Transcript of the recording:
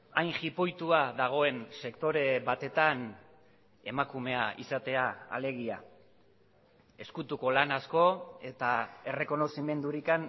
hain jipoitua dagoen sektore batetan emakumea izatea alegia ezkutuko lan asko eta errekonozimendurik